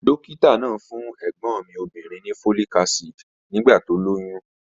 Dókítà náà fún ẹ̀gbọ́n mi obìnrin ní folic acid nígbà tó lóyún